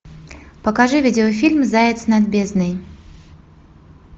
покажи видеофильм заяц над бездной